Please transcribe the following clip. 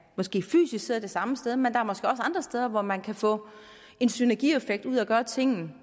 måske fysisk sidder det samme sted men der er måske også andre steder hvor man kan få en synergieffekt ud af at gøre tingene